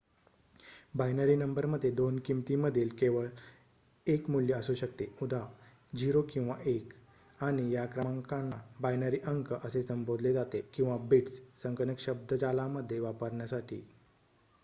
binary number मध्ये 2 किमतीमधील केवळ 1 मूल्य असू शकते उदा 0 किंवा 1 आणि या क्रमांकांना बायनरी अंक असे संबोधले जाते किंवा बिट्स संगणक शब्द्जालामध्ये वापरण्यासाठी